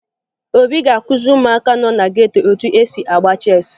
Obi ga-akụziri ụmụaka nọ na geto etu e si agba cheesị